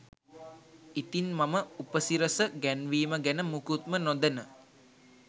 ඉතින් මම උපසිරස ගැන්වීම ගැන මුකුත්ම නොදැන